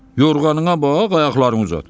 Yorğanına bax, ayaqlarını uzat.